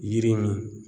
Yiri nin